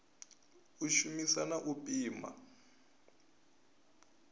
u shumisa na u pima